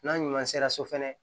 N'an ɲuman sera so fana